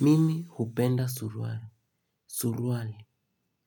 Mimi hupenda suruali. Suruali.